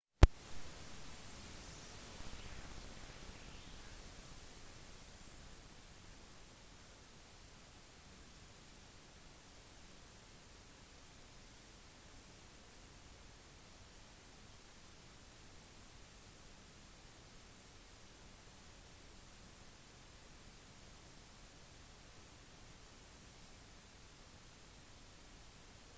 ingen store skader eller ødeleggelser er rapportert i tonga men strømmen var midlertidig borte noe som visstnok forhindret tonganske myndigheter i å motta tsunamivarselet som ble sendt ut av ptwc